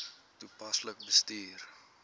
toepaslik bestuur